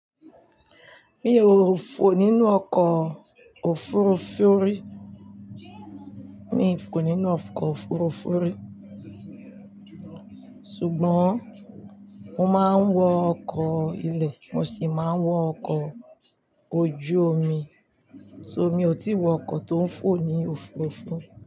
Mi ò fò nínú ọkọ̀ òfurufú rí, mi fò nínú ọkọ̀ òfurufú rí ṣùgbọ́n mo máa ń wọ ọkọ̀ ilẹ̀ mo sì máa ń wọ ọkọ̀ ojú omi, so mi ò tí ì wọ ọkọ̀ tó ń fò ní òfurufú.